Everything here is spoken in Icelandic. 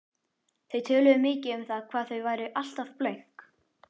Þau töluðu mikið um það hvað þau væru alltaf blönk.